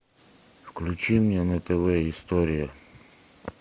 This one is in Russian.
включи мне на тв история